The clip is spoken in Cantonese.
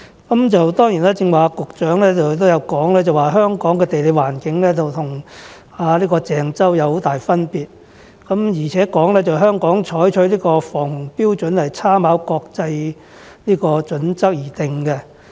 當然，局長剛才也有提到，香港的地理環境與鄭州有很大分別，而且香港採取的防洪標準是參考國際準則而制訂。